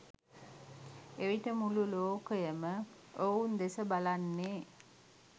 එවිට මුළු ලෝකයම ඔවුන් දෙස බලන්නේ